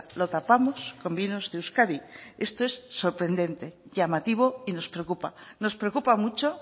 lo tapamos con vinos de euskadi esto es sorprendente llamativo y nos preocupa nos preocupa mucho